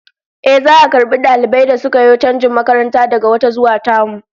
Ehh, za'a karbi dalibai da suka yo chanjin makaranta daga wata zuwa tamu